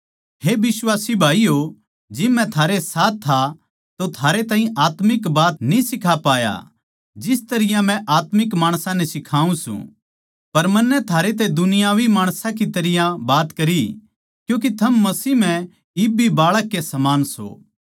हे बिश्वासी भाईयो जिब मै थारै साथ था तो थारे ताहीं आत्मिक बात न्ही सिखा पाया जिस तरियां मै आत्मिक माणसां नै सिखाऊँ सूं पर मन्नै थारै तै दुनियावी माणसां की तरियां बात करी क्यूँके थम मसीह म्ह इब भी बाळक के समान सों